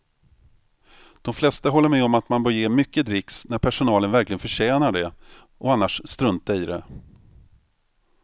De flesta håller med om att man bör ge mycket dricks när personalen verkligen förtjänar det och annars strunta i det.